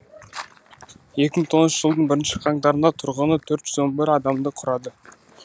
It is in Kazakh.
екіи мың тоғызыншы жылдың бірінші қаңтарында тұрғыны төрт жүз қырық бір адамды құрады